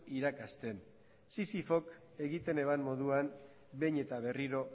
irakasten sisifok egiten eban moduan behin eta berriro